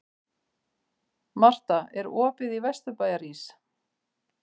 Marta, er opið í Vesturbæjarís?